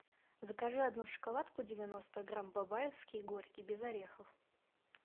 закажи одну шоколадку девяносто грамм бабаевский горький без орехов